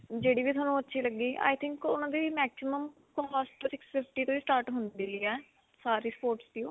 ਜਿਹੜੀ ਵੀ ਤੁਹਾਨੂੰ ਅੱਛੀ ਲਗੀ I think ਉਨ੍ਹਾਂ ਦੀ maximum cost six fifty ਤੋਂ ਹੀ start ਹੁੰਦੀ ਹੈ. ਸਾਰੀ sports ਦੀ ਓਹ.